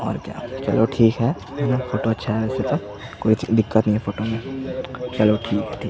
और क्या चलो ठीक है फोटो अच्छा आया है वैसे तो कोई दिक्कत नहीं है फोटो में चलो ठीक है ठीक--